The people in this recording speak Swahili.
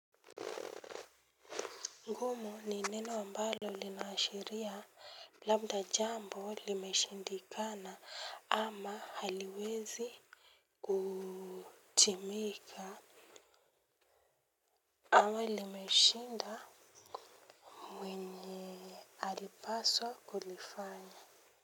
Ngumu ni neno ambalo linaashiria labda jambo limeshindikana ama haliwezi kutimika. Awa limeshinda mwenye. Alipaswa kulifanya.